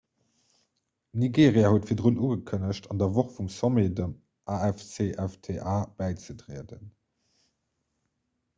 nigeria huet virdrun ugekënnegt an der woch vum sommet dem afcfta bäizetrieden